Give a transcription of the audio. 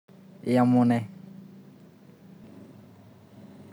Iamune?